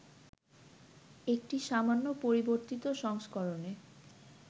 একটি সামান্য পরিবর্তিত সংস্করণে